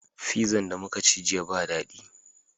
Fizan da muka ci jiya ba dadi